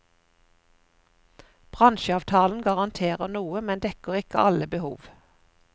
Bransjeavtalen garanterer noe, men dekker ikke alle behov.